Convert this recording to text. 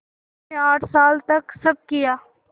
मैंने आठ साल तक सब किया